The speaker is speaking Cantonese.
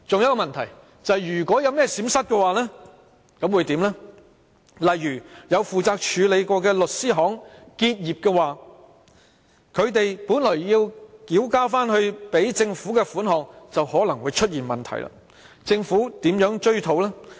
舉例而言，若有曾負責處理有關買賣的律師行結業，他們本來要繳回政府的稅款便可能會出現問題，政府如何追討？